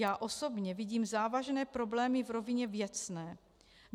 Já osobně vidím závažné problémy v rovině věcné.